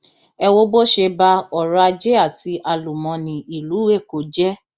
ẹ wo bó ṣe ba ọrọajé àti àlùmọọnì ìlú èkó jẹ